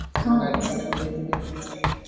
ସେମାନେ Id card ବି ଦେଇଥିଲେ